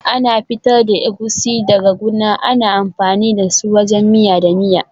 Ana fitar da Egusi daga guna, ana amfani da su wajen miya da miya.